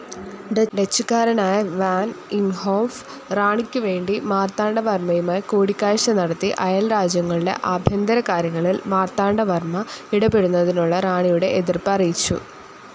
ഡച്ചുകാരനായ വൻ ഇംഹോഫ് റാണിക്കുവേണ്ടി മാർത്താണ്ഡവർമ്മയുമായി കൂടിക്കാഴ്ച്ച നടത്തി അയൽരാജ്യങ്ങളുടെ ആഭ്യന്തരകാര്യങ്ങളിൽ മാർത്താണ്ഡവർമ്മ ഇടപെടുന്നതിനുള്ള റാണിയുടെ എതിർപ്പ് അറിയിച്ചു.